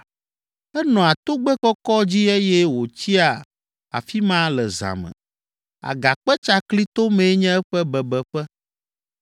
Enɔa togbɛ kɔkɔ dzi eye wòtsia afi ma le zã me, agakpe tsakli tomee nye eƒe bebeƒe.